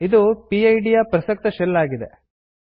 ಇದು ಪಿಡ್ ಯ ಪ್ರಸಕ್ತ ಶೆಲ್ ಆಗಿದೆ